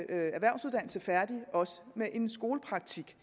erhvervsuddannelse færdig også med en skolepraktik